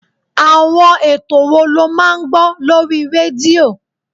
Àwọn ètò wo lo máa ń gbọ́ lórí rédíò?